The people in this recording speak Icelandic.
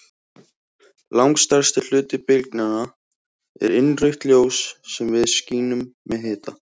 Langstærsti hluti bylgnanna er innrautt ljós sem við skynjum sem hita.